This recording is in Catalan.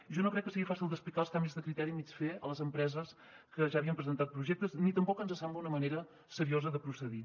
jo no crec que sigui fàcil d’explicar els canvis de criteri a mig fer a les empreses que ja havien presentat projectes ni tampoc ens sembla una manera seriosa de procedir